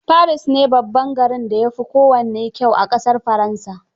Paris ne babban garin da ya fi kowanne kyau a ƙasar Faransa